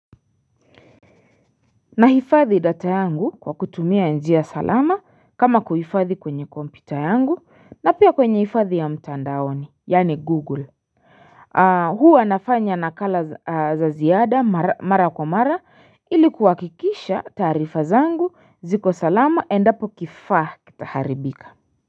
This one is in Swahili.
Nahifadhi data yangu kwa kutumia njia salama kama kuhifadhi kwenye kompyuta yangu na pia kwenye hifadhi ya mtandaoni yaani google huu nafanya nakala za ziada mara kwa mara ilikuwa kuhakikisha taarifa zangu ziko salama endapo kifaa kitaharibika.